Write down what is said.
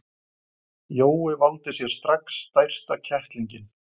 Jói valdi sér strax stærsta kettlinginn.